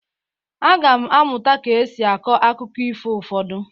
Aga m amụta ka e si akọ akụkọ ifo ụfọdụ.